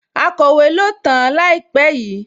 Akọ̀wé ló tàn-án láìpẹ́ yìí?